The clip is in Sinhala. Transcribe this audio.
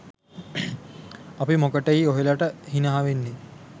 අපි මොකටෙයි ඔහෙලට හිනා වෙන්නෙ